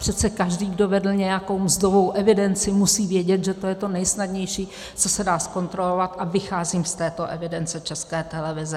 Přece každý, kdo vedl nějakou mzdovou evidenci, musí vědět, že to je to nesnadnější, co se dá zkontrolovat, a vycházím z této evidence České televize.